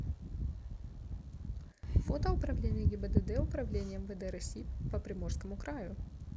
фото управление гибдд управление мвд россии по приморскому краю